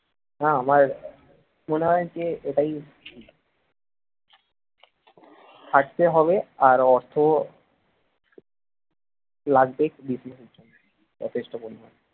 হ্যাঁ আমার মনে হয় যে এটাই খাটতে হবে আর অর্থ লাগবে business যথেষ্ট পরিমাণে